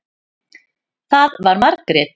Það var Margrét.